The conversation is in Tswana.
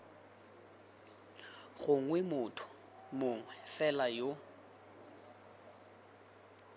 gongwe motho mongwe fela yo